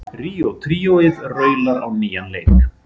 Ríó tríóið raular á nýjan leik